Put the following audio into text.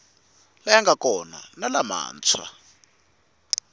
laya nga kona na lamantshwa